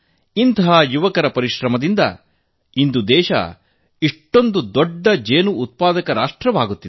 ಅಂತಹ ಯುವಕರ ಕಠಿಣ ಪರಿಶ್ರಮದಿಂದ ದೇಶ ಇಂದು ಭಾರಿ ದೊಡ್ಡ ಜೇನು ಉತ್ಪಾದಕ ರಾಷ್ಟ್ರವಾಗುತ್ತಿದೆ